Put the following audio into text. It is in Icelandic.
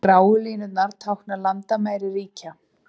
Gráu línurnar tákna landamæri ríkja.